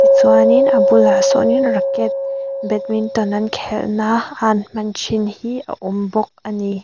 tichuanin a bulah sâwnin racket badminton an khelhna a an hman ṭhin hi a awm bawk a ni.